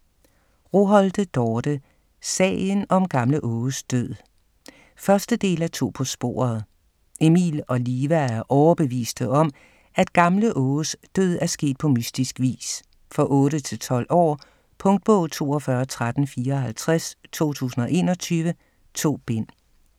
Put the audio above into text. Roholte, Dorte: Sagen om gamle Åges død 1. del af To på sporet. Emil og Liva er overbeviste om, at Gamle Åges død er sket på mystisk vis. For 8-12 år. Punktbog 421354 2021. 2 bind.